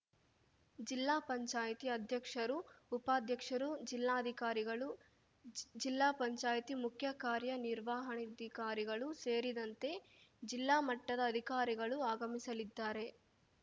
ಜಿಲ್ಲಾಪಂಚಾಯ್ತಿ ಅಧ್ಯಕ್ಷರು ಉಪಾಧ್ಯಕ್ಷರು ಜಿಲ್ಲಾಧಿಕಾರಿಗಳು ಜಿಲ್ಲಾ ಪಂಚಾಯ್ತಿ ಮುಖ್ಯಕಾರ್ಯನಿರ್ವಹಣಾಧಿಕಾರಿಗಳು ಸೇರಿದಂತೆ ಜಿಲ್ಲಾಮಟ್ಟದ ಅಧಿಕಾರಿಗಳು ಆಗಮಿಸಲಿದ್ದಾರೆ